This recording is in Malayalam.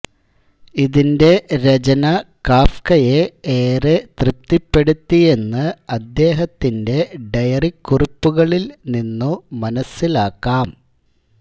ഇതിന്റെ രചന കാഫ്കയെ ഏറെ തൃപ്തിപ്പെടുത്തിയെന്ന് അദ്ദേഹത്തിന്റെ ഡയറിക്കുറിപ്പുകളിൽ നിന്നു മനസ്സിലാക്കാം